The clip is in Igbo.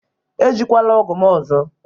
Ejikwala ọgụ m ọzọ!